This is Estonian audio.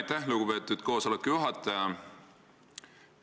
Aitäh, lugupeetud koosoleku juhataja!